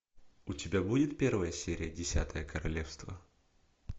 у тебя будет первая серия десятое королевство